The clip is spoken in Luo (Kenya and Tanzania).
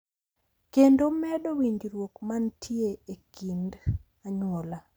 Kendo omedo winjruok mantie e kind anyuola.